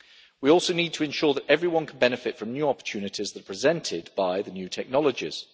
We also need to ensure that everyone can benefit from new opportunities that are presented by the new technologies.